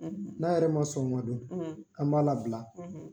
N'a yɛrɛ ma sɔn o ma do an b'a labila